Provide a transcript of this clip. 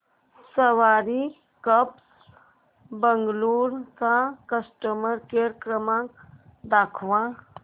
सवारी cabs Bengaluru चा customer care क्रमांक दाखवा